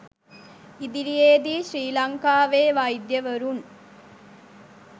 ඉදිරියේ දී ශ්‍රි ලංකාවේ වෛද්‍යවරුන්